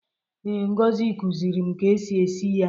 Ee, Ngozi kuziri m ka esi esi ya.